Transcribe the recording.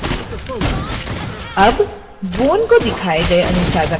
अब bone को दिखाए गए अनुसार रखें